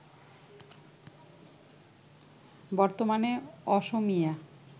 বর্তমানে অসমীয়া